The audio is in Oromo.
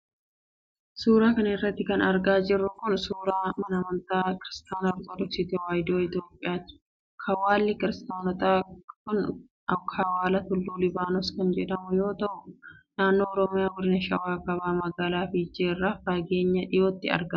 Suura kana irratti kan argaa jirru kun, suura mana amantaa Kiristaana Ortodooksii Tawaahidoo Itoophiyaati. Kawwaalli kiristaanotaa kun, kawwaala Tulluu Libaanos kan jedhamu yoo ta'u, naannoo Oromiyaa ,godina Shawaa kaabaa ,magaalaa Fiichee irraa fageenya dhihootti argama.